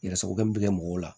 Yɛrɛ sagokɛ min bɛ kɛ mɔgɔw la